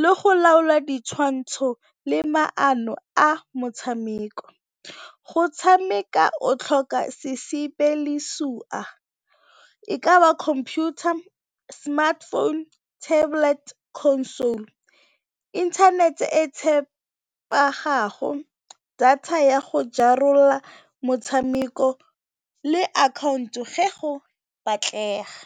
le go laola ditshwantsho le maqno a motshameko. Go tshameka o tlhoka e ka ba computer, smartphone, tablet, console, inthanete e tshepagago, data ya go jarela motshameko le akhaonto ge go batlega.